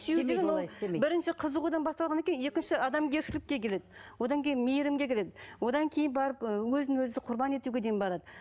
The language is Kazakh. сүю деген ол бірінші қызығудан басталғаннан кейін екінші адамгершілікке келеді одан кейін мейірімге келеді одан кейін барып ы өзін өзі құрбан етуге дейін барады